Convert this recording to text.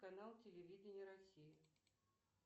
канал телевидения россия